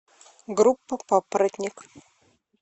группа папоротник